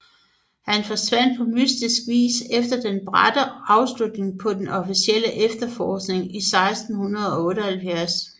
Han forsvandt på mystisk vis efter den bratte afslutning på den officielle efterforskning i 1678